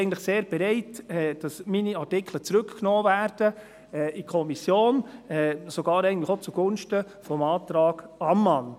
Ich bin eigentlich sehr bereit, dass meine Artikel in die Kommission zurückgenommen werden, eigentlich sogar auch zugunsten des Antrags Ammann.